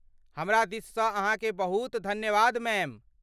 हमरा दिससँ अहाँकेँ बहुत धन्यवाद मैम!